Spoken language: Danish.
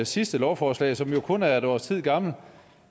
sidste lovforslag som jo kun er et års tid gammelt